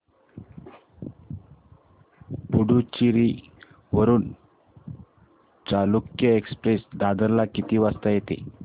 पुडूचेरी वरून चालुक्य एक्सप्रेस दादर ला किती वाजता येते